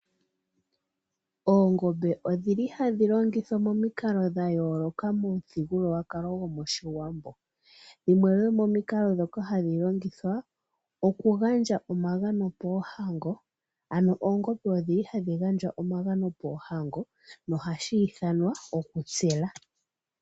Oongombe odhili hadhi longithwa momikalo dha yooloka momuthigululwakalo gomoshiwambo . Yimwe yomomikalo ndhoka hadhi longithwa, oku gandja omagano poohango, aano oongombe odhili hadhi gandjwa omagano poohango nohashi ithanwa okutsela.